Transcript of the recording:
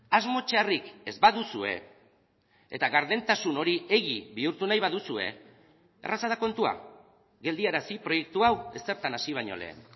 asmo txarrik ez baduzue eta gardentasun hori egi bihurtu nahi baduzue erraza da kontua geldiarazi proiektu hau ezertan hasi baino lehen